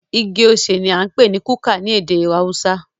Igi osè ní a ń pé ní kuka ní ède haúsá.